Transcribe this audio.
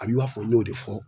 A bi i b'a fɔ n y'o de fɔ